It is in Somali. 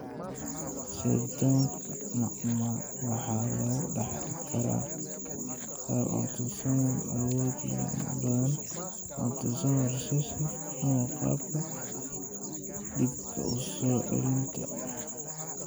Sirdoonka macmal waxaa lagu dhaxli karaa qaab autosomal awood badan, autosomal recessive ama qaabka dib u soo celinta X.